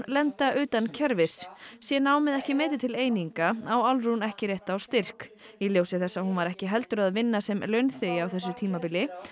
lenda utan kerfis sé námið ekki metið til eininga á Álfrún ekki rétt á styrk í ljósi þess að hún var ekki heldur að vinna sem launþegi á þessu tímabili